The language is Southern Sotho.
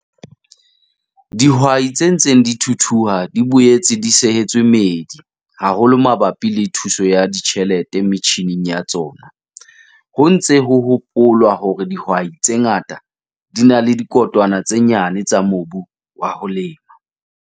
Dihwai tse ntseng di thuthuha di boetse di sehetswe meedi haholo mabapi le thuso ya ditjhelete metjhineng ya tsona - ho ntse ho hopolwa hore dihwai tse ngata di na le dikotwana tse nyane tsa mobu wa ho lema.